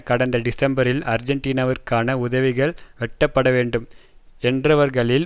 கடந்த டிசம்பரில் ஆர்ஜென்டீனாவிற்கான உதவிகள் வெட்டப்படவேண்டும் என்றவர்களில்